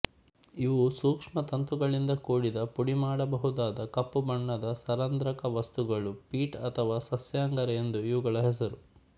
ಇವು ಸೂಕ್ಷ್ಮತಂತುಗಳಿಂದ ಕೂಡಿದ ಪುಡಿಮಾಡಬಹುದಾದ ಕಪ್ಪು ಬಣ್ಣದ ಸರಂಧ್ರಕ ವಸ್ತುಗಳು ಪೀಟ್ ಅಥವಾ ಸಸ್ಯಾಂಗಾರ ಎಂದು ಇವುಗಳ ಹೆಸರು